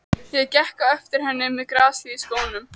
Ég gekk á eftir henni með grasið í skónum!